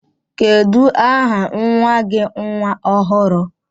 Kedu aha nwa gi nwa ọhụrụ?